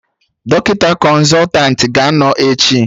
Dọkịta Kọnsọtanti ga-anọ echi